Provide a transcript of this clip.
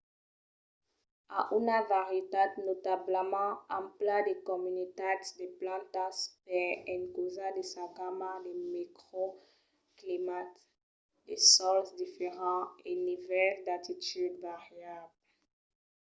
a una varietat notablament ampla de comunitats de plantas per encausa de sa gamma de microclimats de sòls diferents e nivèls d’altitud variables